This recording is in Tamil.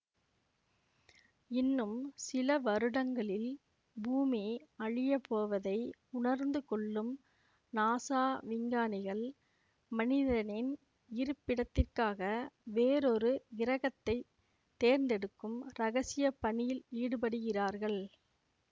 இன்னும் சில வருடங்களில் பூமி அழியப்போவதை உணர்ந்துகொள்ளும் நாசா விஞ்ஞானிகள் மனிதனின் இருப்பிடத்திற்காக வேறொரு கிரகத்தைத் தேர்ந்தெடுக்கும் ரகசிய பணியில் ஈடுபடுகிறார்கள்